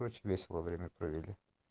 очень весело время провели